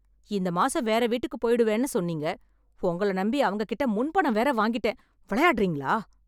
இந்த மாசம் வேற வீட்டுக்குப் போய்டுவேன்னு சொன்னீங்க. உங்கள நம்பி அவங்ககிட்ட முன் பணம் வேற வாங்கிட்டேன். விளையாடறீங்களா?